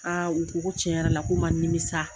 u ko cɛn yɛrɛ la k'u ma nimisa.